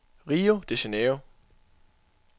Rio de Janeiro